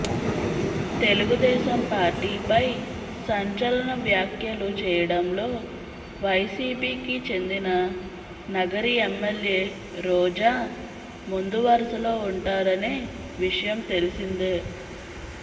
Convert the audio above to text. తెలుగుదేశం పార్టీపై సంచలన వ్యాఖ్యలు చేయడంలో వైసిపికి చెందినా నగరి ఎమ్మెల్యే రోజా ముందు వరసలో ఉంటారనే విషయం తెలిసిందే